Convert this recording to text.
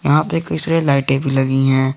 यहां पे कई सारे लाइटें भी लगी है।